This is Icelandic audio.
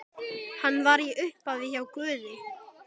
Hann var í upphafi hjá Guði.